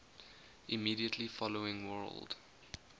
immediately following world